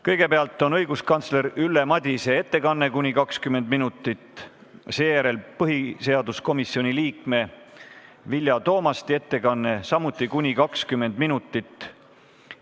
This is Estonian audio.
Kõigepealt on õiguskantsler Ülle Madise ettekanne, mis kestab kuni 20 minutit, seejärel on põhiseaduskomisjoni liikme Vilja Toomasti ettekanne, mis kestab samuti kuni 20 minutit.